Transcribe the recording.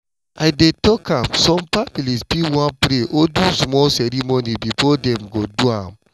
i dey talk am some families fit wan pray or do small ceremony before dem go do am.